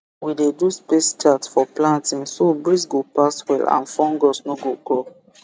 we dey do space chart for planting so breeze go pass well and fungus no go grow